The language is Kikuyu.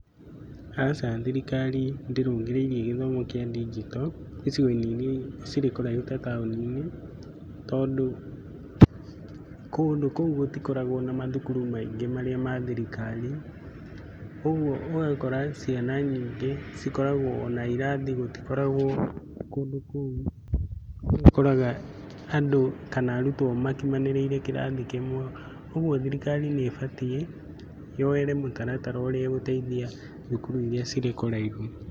Aca thirikari ndĩrũngĩrĩirie gĩthomo kĩa ndinjito, icigo-inĩ iria cirĩ kũraihu ta taũni-inĩ , tondũ kũndũ kũu gũtikoragwo na mathukuru maingĩ marĩa ma thirikari. Koguo ũgakora ciana nyingĩ cikoragwo na irathi gũtikoragwo kũndũ kũu nĩ ũkoraga andũ kana arutwo makimanĩrĩire kĩrathi kĩmwe. Ũguo thirikari nĩ ĩbatiĩ yoere mũtaratara ũrĩa gũteithia thukuru iria cirĩ kũraihu.